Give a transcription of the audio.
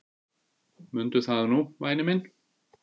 Mundu það nú væni minn.